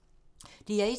DR1